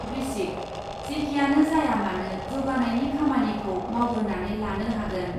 बृश्चिक, जेखियानो जाया मानो जौगानायनि खामानिखौ मावग्रोनानै लानो हागोन ।